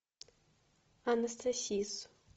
анастасис